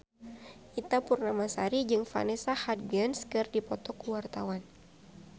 Ita Purnamasari jeung Vanessa Hudgens keur dipoto ku wartawan